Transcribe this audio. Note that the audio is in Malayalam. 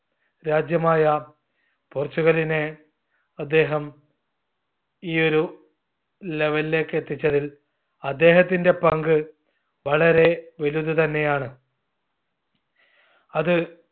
രാജ്യമായ പോർച്ചുഗലിനെ അദ്ദേഹം ഈയൊരു level ലേക്ക് എത്തിച്ചതിൽ അദ്ദേഹത്തിന്റെ പങ്ക് വളരെ വലുത് തന്നെയാണ്. അത്